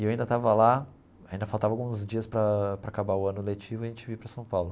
E eu ainda estava lá, ainda faltavam alguns dias para para acabar o ano letivo e a gente vir para São Paulo.